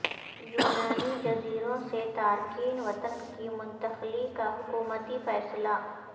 یونانی جزیروں سے تارکین وطن کی منتقلی کا حکومتی فیصلہ